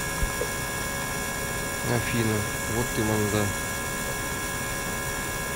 афина вот ты манда